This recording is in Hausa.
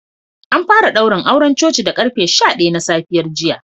An fara daurin auren coci da karfe sha daya na safiyar jiya